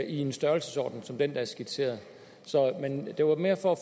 en størrelsesorden som den der er skitseret men det var mere for